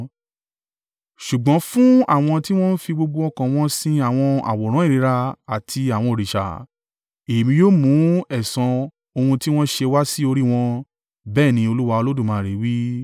Ṣùgbọ́n fún àwọn tí wọ́n ń fi gbogbo ọkàn wọn sin àwọn àwòrán ìríra àti àwọn òrìṣà, Èmi yóò mú ẹ̀san ohun tí wọ́n ṣe wá sí orí wọn bẹ́ẹ̀ ni Olúwa Olódùmarè wí.”